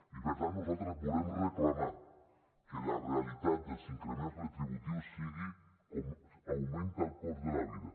i per tant nosaltres volem reclamar que la realitat dels increments retributius sigui com augmenta el cost de la vida